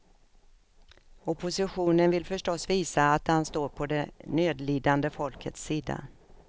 Oppositionen vill förstås visa att den står på det nödlidande folkets sida.